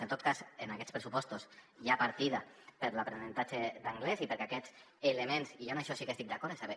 en tot cas en aquests pressupostos hi ha partida per a l’aprenentatge d’anglès i perquè aquests elements i jo en això sí que hi estic d’acord